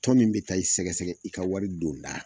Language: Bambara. Tɔn min be taa i sɛgɛsɛgɛ i ka wari don da